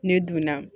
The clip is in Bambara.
Ne donna